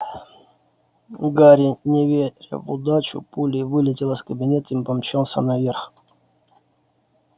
у гарри не веря в удачу пулей вылетел из кабинета и помчался наверх